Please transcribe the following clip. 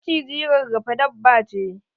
Maciji rarrafe dabba ce